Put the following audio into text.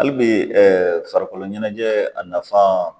Hali bi farikolo ɲɛnajɛ a nafan